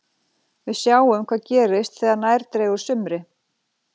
Við sjáum hvað gerist þegar nær dregur sumri.